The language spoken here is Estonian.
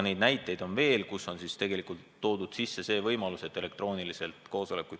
Neid näiteid on veel, mille korral on antud võimalus pidada koosolekuid elektrooniliselt.